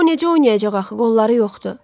O necə oynayacaq axı qolları yoxdur?